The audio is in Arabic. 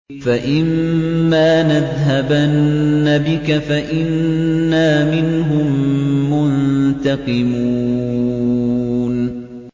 فَإِمَّا نَذْهَبَنَّ بِكَ فَإِنَّا مِنْهُم مُّنتَقِمُونَ